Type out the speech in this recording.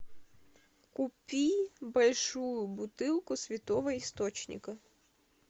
купи большую бутылку святого источника